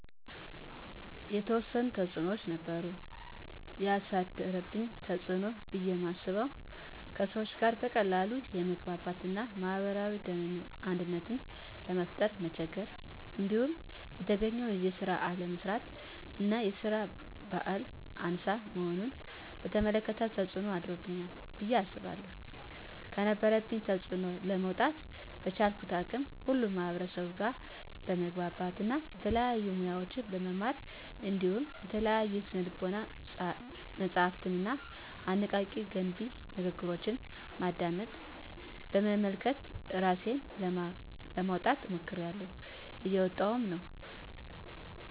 የተዎሰኑ ተፅኖዎች ነበሩ። የአሳደረብኝ ተፅኖ ብየ ማስበው:- ከሰዎች ጋር በቀላሉ የመግባባት እና ማህበራዊ አንድነትን ለመፍጠር መቸገር። እንዲሁም የተገኘውን ስራ አለመስራት እና የስራ በህል አናሳ መሆንን በተመለከተ ተፅኖ አሳድሮብኛል ብየ አስባለሁ። ከነበረብኝ ተፅኖ ለመውጣ:- በቻልኩት አቅም ሁሉ ከማህበርሰቡ ጋር በመግባባት እና የተለያዩ ሙያዎችን በመማር እንዲሁም የተለያዩ የስነ ልቦና መፀሀፍትንና አነቃ፣ ገንቢ ንግግሮችን በማድመጥ፣ በመመልከት እራሴን ለማውጣት ሞክሬላሁ። እየወጣሁም ነው።